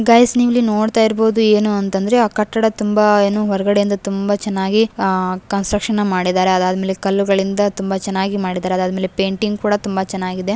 Guys ನೀವು ಇಲ್ಲಿ ನೋಡ್ತಾ ಇರಬಹುದು ಏನು ಅಂತಂದ್ರೆ ಆ ಕಟ್ಟಡ ತುಂಬಾ ಏನು ಹೊರಗಡೆ ಇಂದ ತುಂಬಾ ಚೆನ್ನಾಗಿ ಕನ್ಸ್ಟ್ರಕ್ಷನ್ ಮಾಡಿದರೆ ಅದಾದ್ ಮೇಲೆ ಕಲ್ಲುಗಳಿಂದ ತುಂಬಾ ಚೆನ್ನಾಗಿ ಮಾಡಿದ್ದಾರೆ ಅದಾದ್ ಮೇಲೆ ಪೇಂಟಿಂಗ್ ಕೂಡ ತುಂಬಾ ಚೆನ್ನಾಗಿ ಇದೆ.